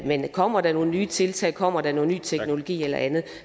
men kommer der nogle nye tiltag kommer der noget ny teknologi eller andet